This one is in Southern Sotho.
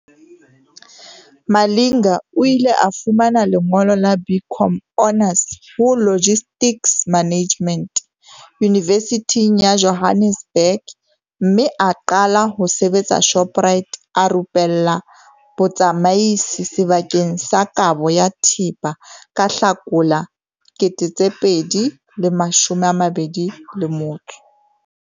Malinga o ile a fumana lengolo la BCom Honours ho Logistics Management Yunivesithing ya Johannesburg mme a qala ho sebetsa Shoprite a rupellwa botsamaisi sebakeng sa kabo ya thepa ka Hlakola 2021.